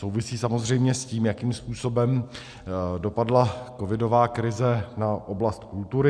Souvisí samozřejmě s tím, jakým způsobem dopadla covidová krize na oblast kultury.